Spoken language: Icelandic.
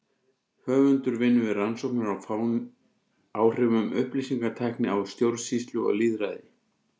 Höfundur vinnur við rannsóknir á áhrifum upplýsingatækni á stjórnsýslu og lýðræði.